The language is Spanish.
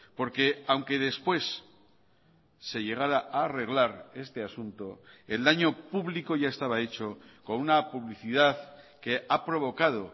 porque aunque después se llegara a arreglar este asunto el daño público ya estaba hecho con una publicidad que ha provocado